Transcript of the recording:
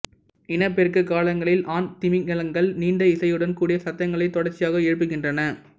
இனப்பெருக்கக் காலங்களில் ஆண் திமிங்கிலங்கள் நீண்ட இசையுடன் கூடிய சத்தங்களை தொடர்ச்சியாக எழுப்புகின்றன